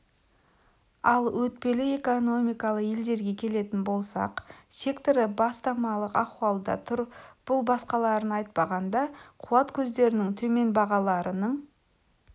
ал өтпелі экономикалы елдерге келетін болсақ секторы бастамалық ахуалда тұр бұл басқаларын айтпағанда қуат көздерінің төмен бағаларының